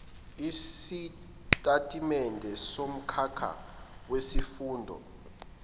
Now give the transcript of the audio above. isitatimende somkhakha wesifundo